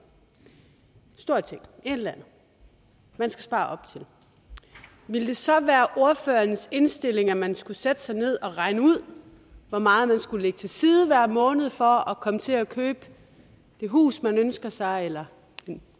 en stor ting et eller andet man skal spare op til ville det så være ordførerens indstilling at man skulle sætte sig ned og regne ud hvor meget man skulle lægge til side hver måned for at komme til at købe det hus man ønskede sig eller det